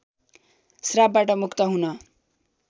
श्रापबाट मुक्त हुन